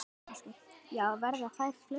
Ásgeir: Já, verða þær fleiri?